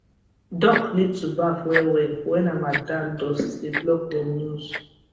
duck need to baf well well when harmattan dust dey block dem nose